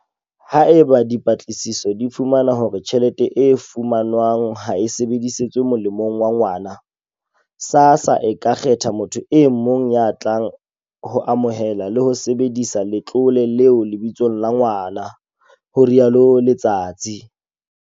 Haeba dipatlisiso di fumana hore tjhelete e fumanwang ha e sebedisetswe molemong wa ngwana, SASSA e ka kgetha motho e mong ya tlang ho amohela le ho sebedisa letlole leo lebitsong la ngwana, ho rialo Letsatsi.